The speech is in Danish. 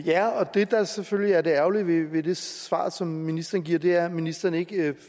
det der selvfølgelig er det ærgerlige ved det svar som ministeren giver er at ministeren ikke